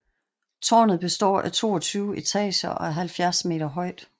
Tårnet består af 22 etager og er 70 meter højt